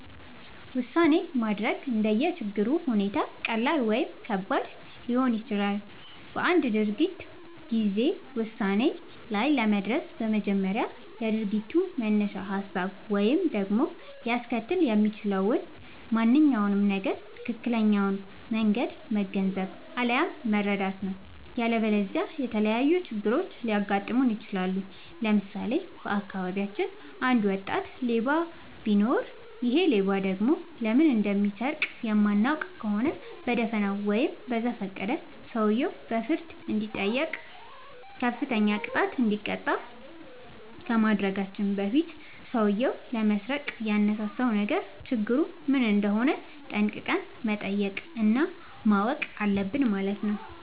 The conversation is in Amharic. ውሳኔ ማድረግ እንደየ ችግሩ ሁኔታ ቀላል ወይም ከባድ ሊሆን ይችላል። በአንድ ድርጊት ጊዜ ውሳኔ ላይ ለመድረስ በመጀመሪያ የድርጊቱን መነሻ ሀሳብ ወይም ደግሞ ሊያስከትል የሚችለውን ማንኛውም ነገር ትክክለኛውን መንገድ መገንዘብ፣ አለያም መረዳት ነው።. ያለበለዚያ የተለያዩ ችግሮች ሊያጋጥሙን ይችላሉ። ለምሳሌ:- በአካባቢያችን አንድ ወጣት ሌባ ቢኖር ይሔ ሌባ ደግሞ ለምን እንደሚሰርቅ የማናውቅ ከሆነ በደፋናው ወይም በዘፈቀደ ሰውየው በፍርድ እንዲጠይቅ፤ ከፍተኛ ቅጣት እንዲቀጣ ከማድረጋችን በፊት ሠውዬው ለመስረቅ ያነሳሳውን ነገር ችግሩ ምን እንደሆነ ጠንቅቀን መጠየቅ እና ማወቅ አለብን ማለት ነው።